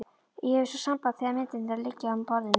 Ég hef svo samband þegar myndirnar liggja á borðinu.